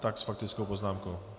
Tak s faktickou poznámkou.